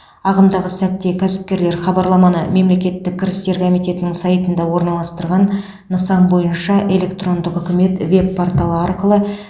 ағымдағы сәтте кәсіпкерлер хабарламаны мемлекеттік кірістер комитетінің сайтында орналастырылған нысан бойынша электрондық үкімет веб порталы арқылы